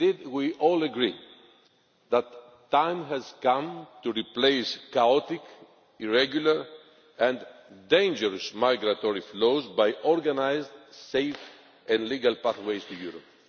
We all agree that the time has come to replace chaotic, irregular and dangerous migratory flows with organised safe and legal pathways to Europe.